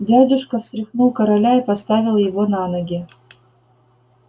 дядюшка встряхнул короля и поставил его на ноги